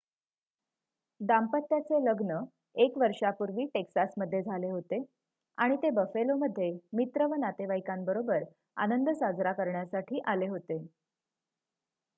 दाम्पत्याचे लग्न एक वर्षापूर्वी टेक्सासमध्ये झाले होते आणि ते बफेलोमध्ये मित्र व नातेवाईकांबरोबर आनंद साजरा करण्यासाठी आले होते